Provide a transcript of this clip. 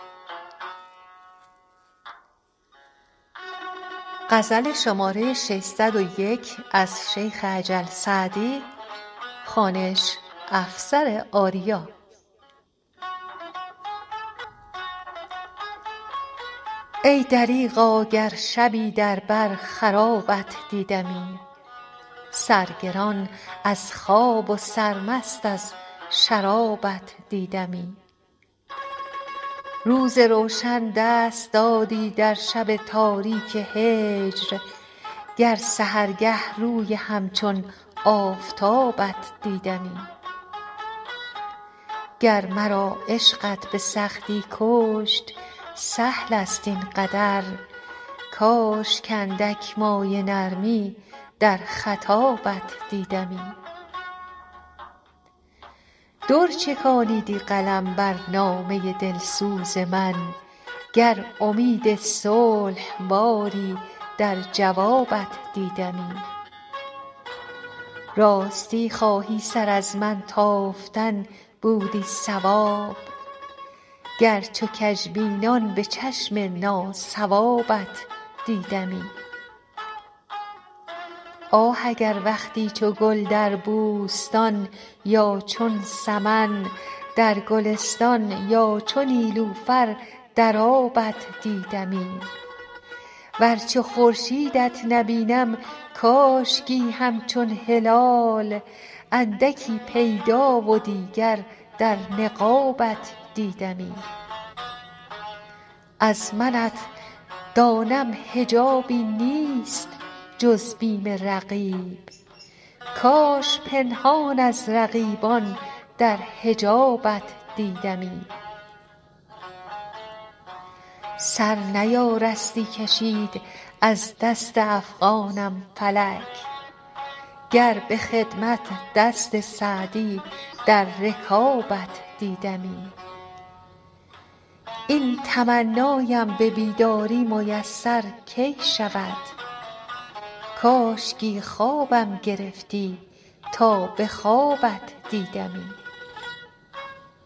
ای دریغا گر شبی در بر خرابت دیدمی سرگران از خواب و سرمست از شرابت دیدمی روز روشن دست دادی در شب تاریک هجر گر سحرگه روی همچون آفتابت دیدمی گر مرا عشقت به سختی کشت سهل است این قدر کاش کاندک مایه نرمی در خطابت دیدمی در چکانیدی قلم بر نامه دلسوز من گر امید صلح باری در جوابت دیدمی راستی خواهی سر از من تافتن بودی صواب گر چو کژبینان به چشم ناصوابت دیدمی آه اگر وقتی چو گل در بوستان یا چون سمن در گلستان یا چو نیلوفر در آبت دیدمی ور چو خورشیدت نبینم کاشکی همچون هلال اندکی پیدا و دیگر در نقابت دیدمی از منت دانم حجابی نیست جز بیم رقیب کاش پنهان از رقیبان در حجابت دیدمی سر نیارستی کشید از دست افغانم فلک گر به خدمت دست سعدی در رکابت دیدمی این تمنایم به بیداری میسر کی شود کاشکی خوابم گرفتی تا به خوابت دیدمی